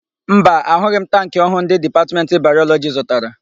Mba, ahụghị m tankị ọhụụ ndị Dipatmentị Bayọlọjị zụtara.